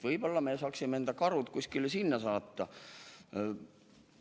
Võib-olla me saaksime enda karud kuskile sinna saata?